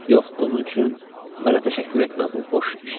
Yox, bunun üçün mənə təşəkkür etmə, bu boş işdir.